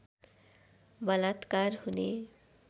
बलात्कार हुने